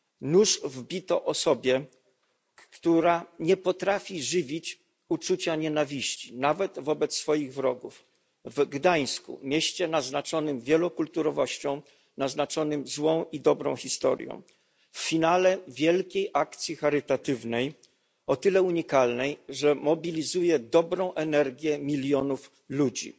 Nóż wbito osobie, która nie potrafi żywić uczucia nienawiści nawet wobec swoich wrogów, w Gdańsku mieście naznaczonym wielokulturowością, złą i dobrą historią, w finale wielkiej akcji charytatywnej, o tyle unikalnej, że mobilizuje dobrą energię milionów ludzi.